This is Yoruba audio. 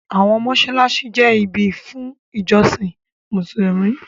Àwọn mọ́ṣáláṣí jẹ́ ibi fún ìjọsìn Mùsùlùmí.